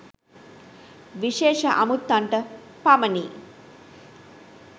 විශේෂ අමුත්තන්ට පමණි.